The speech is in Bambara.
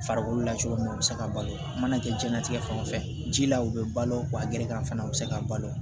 Farikolo la cogo min na u bɛ se ka balo a mana kɛ jɛnlatigɛ fan o fɛ ji la u bɛ balo wa gerekan fana u bɛ se ka balo